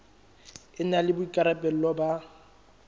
e na le boikarabelo ba